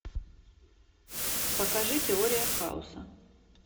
покажи теория хаоса